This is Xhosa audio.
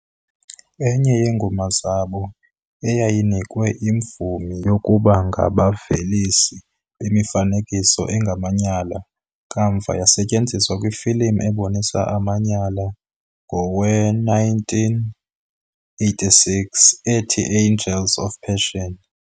Enye yeengoma zabo eyayinikwe imvume yokuba ngabavelisi bemifanekiso engamanyala kamva yasetyenziswa kwifilimu ebonisa amanyala ngowe-1986 "ethi Angels of Passion".